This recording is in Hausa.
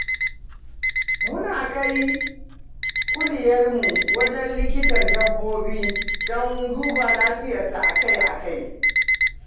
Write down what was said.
Mu na kai kuliyarmu wajen likitan dabbobi don duba lafiyarta akai-akai.